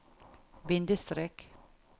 bindestrek